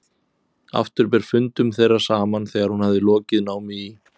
Aftur ber fundum þeirra saman þegar hún hafði lokið námi í